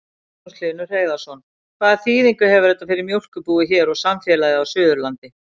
Magnús Hlynur Hreiðarsson: Hvaða þýðingu hefur þetta fyrir mjólkurbúið hér og samfélagið á Suðurlandi?